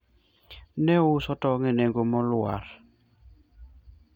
nouso tong e nengo molwar